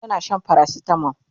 tana Shan paracetamol